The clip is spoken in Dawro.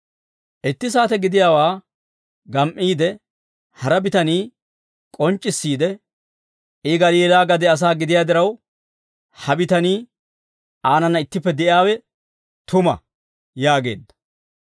Itti saate gidiyaawaa gam"iide hara bitanii k'onc'c'issiide, «I Galiilaa gade asaa gidiyaa diraw, ha bitanii aanana ittippe de'iyaawe tuma» yaageedda.